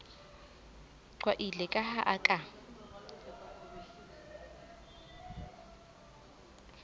qwaile ka ha a ka